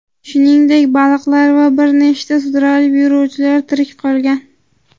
shuningdek baliqlar va bir nechta sudralib yuruvchilar tirik qolgan.